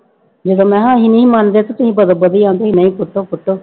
ਜਦੋਂ ਮੈਂ ਕਿਹਾ ਅਸੀਂ ਨਹੀਂ ਮੰਨਦੇ ਤੇ ਤੁਸੀਂ ਬਦੋ ਬਦੀ ਹਾਂ ਵੀ ਨਹੀਂ ਪੁੱਟੋ ਪੁੱਟੋ